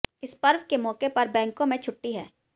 इस पर्व के मौके पर बैंकों में छुट्टी है